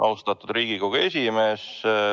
Austatud Riigikogu esimees!